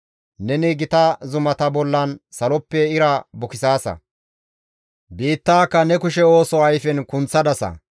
Neni gita zumata bollan saloppe ira bukisaasa; biittaaka ne kushe ooso ayfen kunththadasa.